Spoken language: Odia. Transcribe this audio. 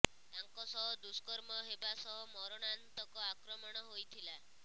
ତାଙ୍କ ସହ ଦୁଷ୍କର୍ମ ହେବା ସହ ମରଣାନ୍ତକ ଆକ୍ରମଣ ହୋଇଥିଲା